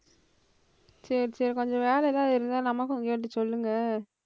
சரி சரி கொஞ்சம் வேலை எதாவது இருந்தா நமக்கும் கேட்டு சொல்லுங்க.